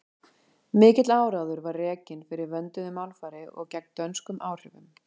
mikill áróður var rekinn fyrir vönduðu málfari og gegn dönskum áhrifum